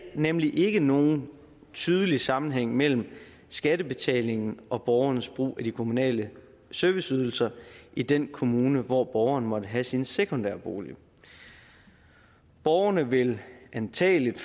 nemlig ikke nogen tydelig sammenhæng mellem skattebetalingen og borgernes brug af de kommunale serviceydelser i den kommune hvor borgeren måtte have sin sekundære bolig borgerne vil antagelig